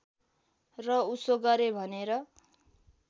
र उसो गरेँ भनेर